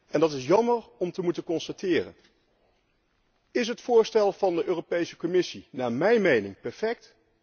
En dat is jammer om te moeten constateren. Is het voorstel van de Europese Commissie naar mijn mening perfect?